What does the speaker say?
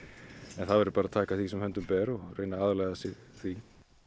það verður bara að taka því sem höndum ber og reyna að aðlaga sig því